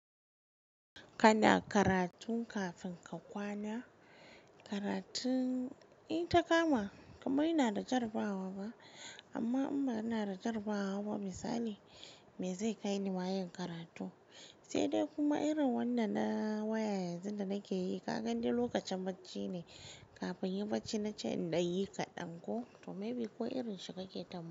Kana karatun kafin ka kwana? Karatun, in ta kama, kamar ina da jarabawa ba, amma in ba ina da jarabawa ba misali me zai kai ni ma yin karatu, sai dai kuma irin wannan na waya yanzu da nake yi, kagani dai lokacin bacci ne, kafin inyi bacci na ce in ɗan yi kaɗan ko, to maybe ko irinshi kake tam--